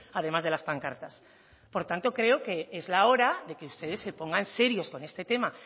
además de las pancartas por tanto creo que es la hora de que ustedes se pongan serios con este tema